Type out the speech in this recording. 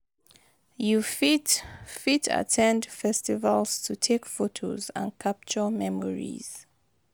you fit fit at ten d festivals to take photos and capture memories.